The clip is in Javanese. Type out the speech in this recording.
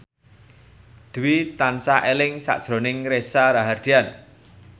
Dwi tansah eling sakjroning Reza Rahardian